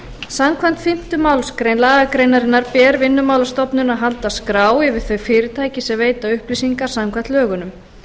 samkvæmt fimmtu málsgrein lagagreinarinnar ber vinnumálastofnun að halda skrá yfir þau fyrirtæki sem veita upplýsingar samkvæmt lögunum